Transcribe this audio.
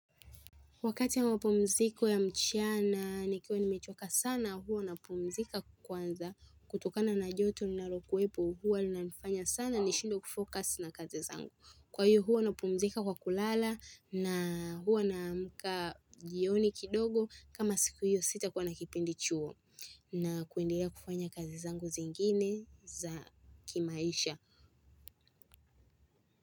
Wakati wa mapumziko ya mchana nikiwa nimechoka sana huwa napumzika kwanza kutokana na joto linanalokuwepo huwa linanifanya sana nishindwe kufocuz na kazi zangu. Kwa hiyo huwa napumzika kwa kulala na huwa naamka jioni kidogo kama siku hiyo sitakuwa na kipindi chuo na kuendelea kufanya kazi zangu zingine za kimaisha.